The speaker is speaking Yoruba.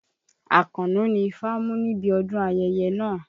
Àkànó ni ifá mú níbi ọdún ayẹyẹ náà.